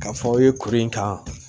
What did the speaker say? K'a fɔ aw ye kuru in kan